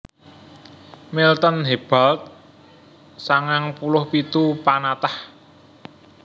Milton Hebald sangang puluh pitu panatah